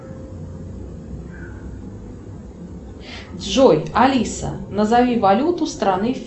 джой алиса назови валюту страны